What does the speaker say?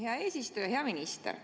Hea eesistuja!